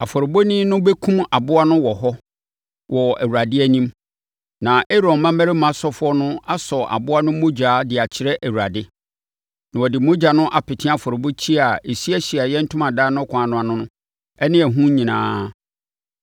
Afɔrebɔni no bɛkum aboa no wɔ hɔ wɔ Awurade anim. Na Aaron mmammarima asɔfoɔ no asɔ aboa no mogya de akyerɛ Awurade. Na wɔde mogya no apete afɔrebukyia a ɛsi Ahyiaeɛ Ntomadan no kwan no ano no ne ɛho nyinaa.